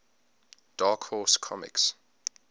dark horse comics